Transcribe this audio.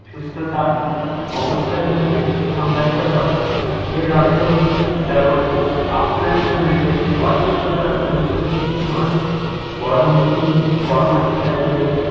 সুস্থতার অবস্থা হিসাবে সংজ্ঞায়িত করে। এর অর্থ কেবল আপনার শরীরে অসুস্থতার অনুপস্থিতি নয়, বরং এটি পরামর্শ দেয় যে